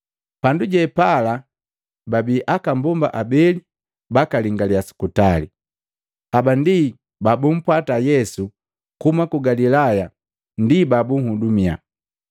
Pandu je pala babii aka mbomba abeli bakalingalia sukutali. Haba ndi babumpwata Yesu kuhuma ku Galilaya ndi babuhudumia.